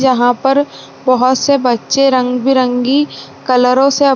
जहाँ पर बहुत से बच्चे रंग-बिरंगी कलरों से --